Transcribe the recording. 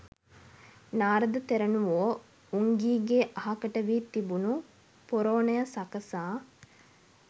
නාරද තෙරණුවෝ උංගීගේ අහකට වී තිබුණු පොරෝනය සකසා